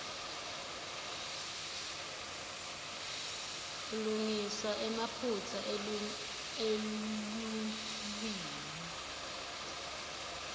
ulungisa emaphutsa elulwimi